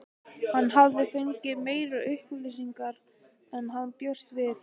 Hann hafði fengið meiri upplýsingar en hann bjóst við.